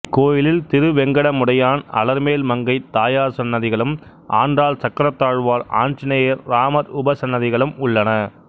இக்கோயிலில் திருவெங்கடமுடையான் அலர்மேல் மங்கை தாயார் சன்னதிகளும் ஆண்டாள் சக்கரத்தாழ்வார் ஆஞ்சநேயர் ராமர் உபசன்னதிகளும் உள்ளன